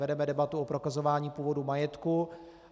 Vedeme debatu o prokazování původu majetku.